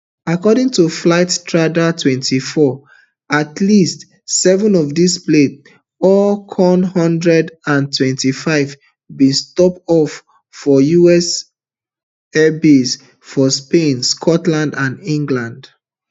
according to flightradartwenty-four at least seven of dis planes all kc one hundred and thirty-fives bin stop off for us airbases for spain scotland and england